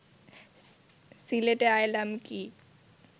সিলেটে আইলাম কি